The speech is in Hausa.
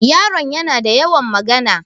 Yaron yana da yawan magana.